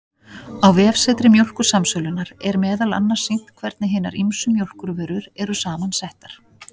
Á vefsetri Mjólkursamsölunnar, er meðal annars sýnt hvernig hinar ýmsu mjólkurvörur eru saman settar.